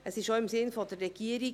Es ist im Sinne der Regierung.